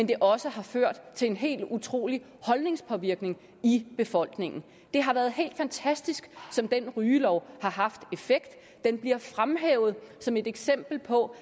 det også har ført til en helt utrolig holdningspåvirkning i befolkningen det har været helt fantastisk som den rygelov har haft effekt den bliver fremhævet som et eksempel på